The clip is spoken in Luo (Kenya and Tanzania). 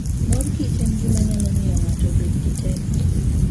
Mor Kichen gima nyalo miyo ng'ato obed gi teko.